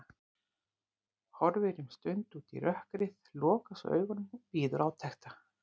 Horfir um stund út í rökkrið, lokar svo augunum og bíður átekta.